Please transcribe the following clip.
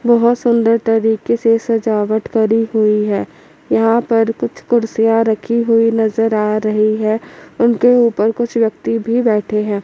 बहोत सुंदर तरीके से सजावट करी हुईं हैं यहां पर कुछ कुर्सियां रखी हुई नजर आ रही हैं उनके ऊपर कुछ व्यक्ति भी बैठे हैं।